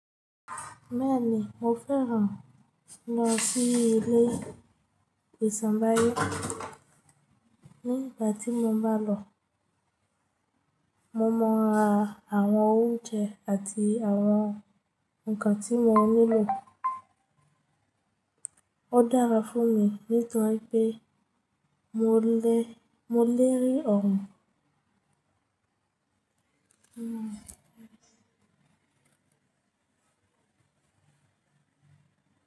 Bẹ́ẹ̀ni, mo fẹ́ràn lọ sí ilé ìsàmbáyé. Nígbà tí mo bá lọ, mo mọ n ra àwọn oúnjẹ àti àwọn nǹkan tí mo nílò. Ó dára fún mi nítorí pé mo lérí ọ̀run.